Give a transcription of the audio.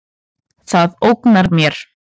Það ógnar mér.